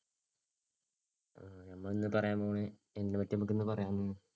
നമ്മളിന്നു പറയാന്‍ പോണ എന്തിനെ പറ്റ്യാ നമ്മക്കിന്ന് പറയാന്‍ പോണ്